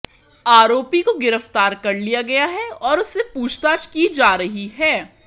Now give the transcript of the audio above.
आरोपी को गिरफ्तार कर लिया गया है और उससे पूछताछ की जा रही है